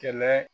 Kɛlɛ